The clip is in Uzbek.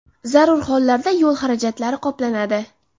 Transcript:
Zarur hollarda yo‘l xarajatlari qoplanadi.